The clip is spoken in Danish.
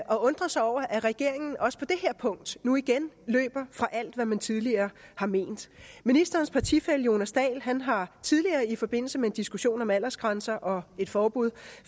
og undre sig over at regeringen også på det her punkt nu igen løber fra alt hvad man tidligere har ment ministerens partifælle herre jonas dahl har tidligere i forbindelse med en diskussion om aldersgrænser og et forbud